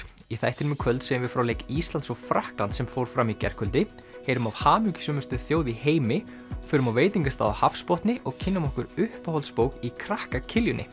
í þættinum í kvöld segjum við frá leik Íslands og Frakklands sem fór fram í gærkvöldi heyrum af hamingjusömustu þjóð í heimi förum á veitingastað á hafsbotni og kynnum okkur uppáhaldsbók í krakka